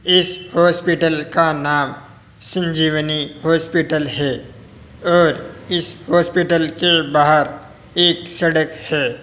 इस हॉस्पिटल का नाम संजीवनी हॉस्पिटल हैं और इस हॉस्पिटल के बाहर एक सड़क हैं।